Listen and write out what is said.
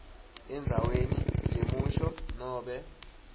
endzaweni yemusho nobe